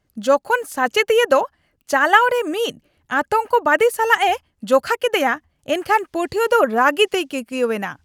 ᱡᱚᱠᱷᱚᱱ ᱥᱟᱪᱮᱛᱤᱭᱟᱹ ᱫᱚ ᱪᱟᱞᱟᱪ ᱨᱮ ᱩᱱᱤ ᱢᱤᱫ ᱟᱸᱛᱟᱝᱵᱟᱹᱫᱤ ᱥᱟᱞᱟᱜ ᱮ ᱡᱚᱠᱷᱟ ᱠᱮᱫᱮᱭᱟ ᱮᱱᱠᱷᱟᱱ ᱯᱟᱹᱴᱷᱣᱟᱹ ᱫᱚ ᱨᱟᱹᱜᱤ ᱛᱮᱭ ᱠᱤᱨᱠᱩᱤᱟᱹᱣ ᱮᱱᱟ ᱾